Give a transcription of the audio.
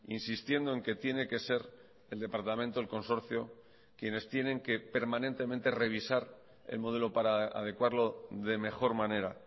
insistiendo en que tiene que ser el departamento el consorcio quienes tienen que permanentemente revisar el modelo para adecuarlo de mejor manera